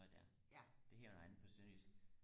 noget der det hedder noget andet på sønderjysk